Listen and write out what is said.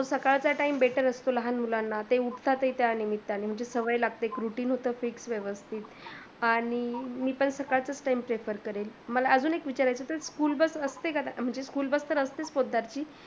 सकाळचा Time better असतो लहान मुलांना. ते उठतात ही त्या निमित्ताने म्हणजे सवय लागते एक routine होत एक व्यवस्थित आणि मी पण सकाळचाच time prefer करेन, मला आजून एक विचारायच होत school bus असते का, म्हणजे school bus तर असतेच पोतदारची